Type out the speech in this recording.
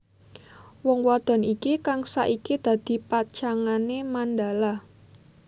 Wong wadon iki kang saiki dadi pacangané Mandala